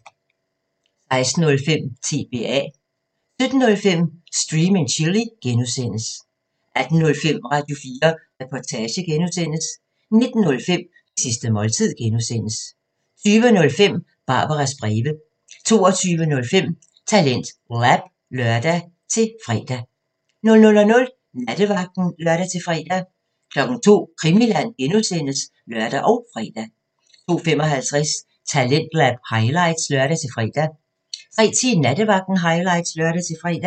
16:05: TBA 17:05: Stream & Chill (G) 18:05: Radio4 Reportage (G) 19:05: Det sidste måltid (G) 20:05: Barbaras breve 22:05: TalentLab (lør-fre) 00:00: Nattevagten (lør-fre) 02:00: Krimiland (G) (lør og fre) 02:55: Talentlab highlights (lør-fre) 03:10: Nattevagten highlights (lør-fre)